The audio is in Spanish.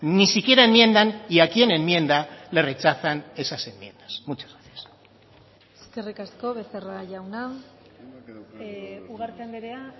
ni siquiera enmiendan y a quien enmienda le rechazan esas enmiendas muchas gracias eskerrik asko becerra jauna ugarte andrea